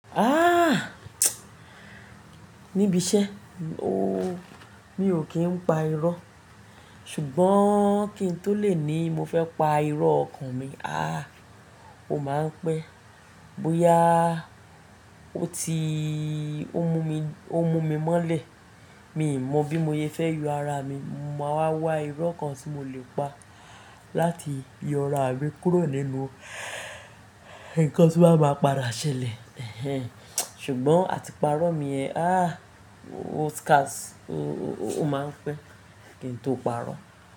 Ah! Níbi iṣẹ́, ooo, mi ò kí ń pa irọ́. Ṣùgbọ́n kí n tó lè ní mo fẹ́ pa irọ́ ọkàn mi, ah, ó máa ń pẹ́. Bóyá ó ti ó mú mi, ó mú mi mọ́lẹ̀. Mi ò mọ̀ bí mo ye fẹ́ yọ ara mi, mo máa wá wá irọ́ kan tí mo lè pa láti yọ ara mi kúrò nínú ǹkan tó wàá máa padà ṣẹlẹ̀. Ehen. Ṣùgbọ́n àti parọ́ mi ẹ, ah, o scarce? Ó máa ń pẹ́, kí n tó parọ́.